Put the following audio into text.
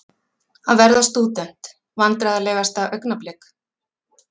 Að verða stúdent Vandræðalegasta augnablik?